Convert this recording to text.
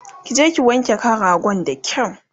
kije ki wanke kan ragon da kyau!